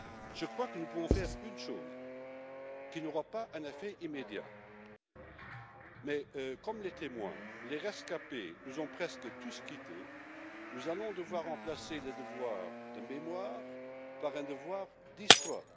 Je crois que nous pouvons faire une chose, même si elle n'aura pas d'effet immédiat comme les témoins et les rescapés nous ont presque tous quittés, nous allons devoir remplacer le devoir de mémoire par un devoir d'histoire.